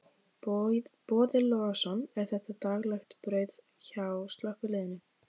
Boði Logason: Er þetta daglegt brauð hjá slökkviliðinu?